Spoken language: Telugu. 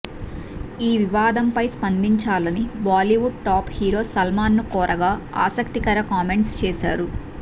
ఈ వివాదంపై స్పందించాలని బాలీవుడ్ టాప్ హీరో సల్మాన్ను కోరగా ఆసక్తికర కామెంట్స్ చేశారు